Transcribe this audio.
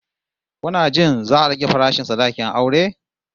Kuna jin za'a rage farashin sadakin aure?